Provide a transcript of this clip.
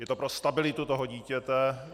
Je to pro stabilitu toho dítěte.